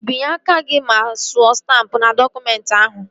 Ị binyela aka gị ma suo stampụ n'dọkụmentị ahụ?